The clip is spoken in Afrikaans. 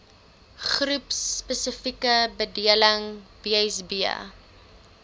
beroepspesifieke bedeling bsb